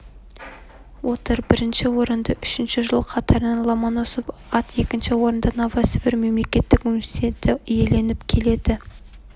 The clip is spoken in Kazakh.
отыр бірінші орынды үшінші жыл қатарынан ломоносов ат екінші орынды новосібір мемлекеттік университеті иеленіп келеді